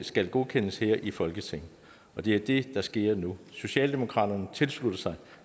skal godkendes her i folketinget og det er det der sker nu socialdemokratiet tilslutter sig